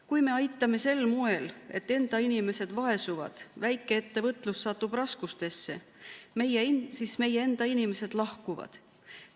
Kui me aitame sel moel, et enda inimesed vaesuvad, väikeettevõtlus satub raskustesse, siis meie enda inimesed lahkuvad.